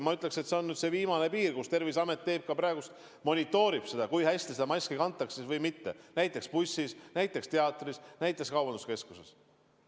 Ma ütleksin, et nüüd on see viimane piir, kus Terviseamet praegu monitoorib, kui hästi maski kantakse, näiteks bussis, näiteks teatris, näiteks kaubanduskeskuses.